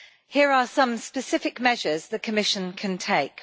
Here are some specific measures the Commission can take.